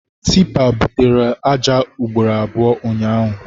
Tipa butere aja ugboro abụọ ụnyaahụ.